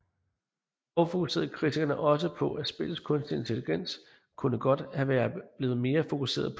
Dog fokuserede kritikerne også på at spillets kunstige intelligens kunne godt have været blevet mere fokuseret på